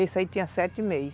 Esse aí tinha sete meses.